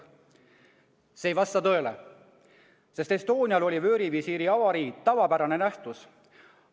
" See ei vasta tõele, sest Estonial oli vöörivisiiri avarii tavapärane nähtus.